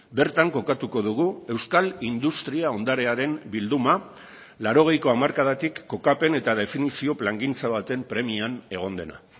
bertan kokatuko dugu euskal industria ondarearen bilduma laurogeiko hamarkadatik kokapen eta definizio plangintza baten premian egon dena